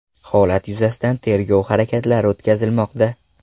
Holat yuzasidan tergov harakatlari o‘tkazilmoqda.